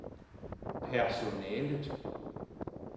personalet